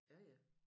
Ja ja